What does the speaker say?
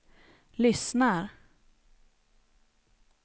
lyssnar